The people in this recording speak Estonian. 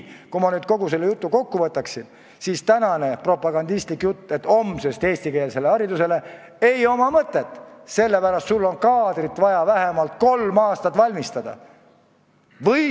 Kui nüüd see kõik kokku võtta, siis ei ole mõtet sellel propagandistlikul jutul, et läheme homsest üle eestikeelsele haridusele, sellepärast et kaadrit on vaja vähemalt kolm aastat ette valmistada.